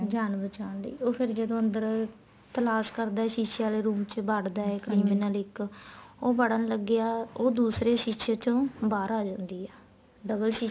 ਜਾਨ ਬਚਾਣ ਲਈ ਉਹ ਫ਼ੇਰ ਜਦੋਂ ਅੰਦਰ ਤਲਾਸ ਕਰਦਾ ਏ ਸ਼ੀਸੇ ਆਲੇ room ਚ ਵੱੜਦਾ ਏ criminal ਇੱਕ ਉਹ ਵੜਨ ਲੱਗਿਆ ਉਹ ਦੂਸਰੇ ਸ਼ੀਸੇ ਚੋ ਬਾਹਰ ਆ ਜਾਂਦੀ ਏ double ਸ਼ੀਸੇ